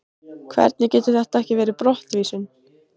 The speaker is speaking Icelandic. Hvernig getur þetta ekki verið brottvísun?